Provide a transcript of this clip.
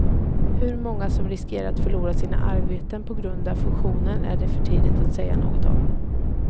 Hur många som riskerar att förlora sina arbeten på grund av fusionen är det för tidigt att säga något om.